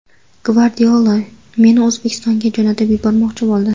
Gvardiola meni O‘zbekistonga jo‘natib yubormoqchi bo‘ldi.